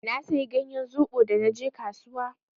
Na sayi ganyen zoɓo da naje kasuwa.